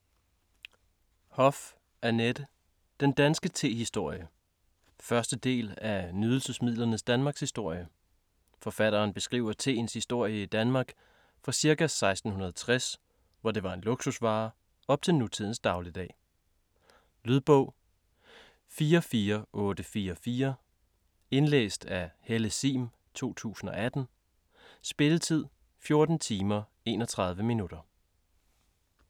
Hoff, Annette: Den danske tehistorie 1. del af Nydelsesmidlernes Danmarkshistorie. Forfatteren beskriver teens historie i Danmark fra ca. 1660, hvor det var en luksusvare, op til nutidens dagligdag. Lydbog 44844 Indlæst af Helle Sihm, 2018. Spilletid: 14 timer, 31 minutter.